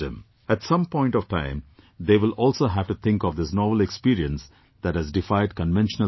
At some point of time they will also have to think of this novel experience that has defied conventional thinking